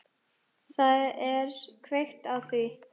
Það er kveikt á því.